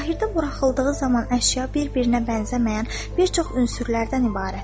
Zahirdə buraxıldığı zaman əşya bir-birinə bənzəməyən bir çox ünsürlərdən ibarətdir.